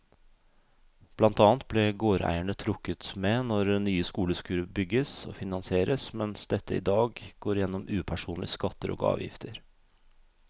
Blant annet ble gårdeierne trukket med når nye skoler skulle bygges og finansieres, mens dette i dag går gjennom upersonlige skatter og avgifter.